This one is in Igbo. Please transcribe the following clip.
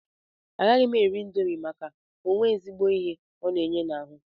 Agaghị m eri indomi maka onwe ezigbo ihe ọ na-enye n'ahụ.